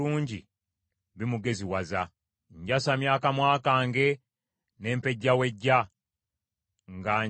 Njasamya akamwa kange ne mpejjawejja nga njaayaanira amateeka go.